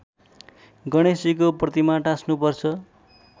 गणेशजीको प्रतिमा टाँस्नुपर्छ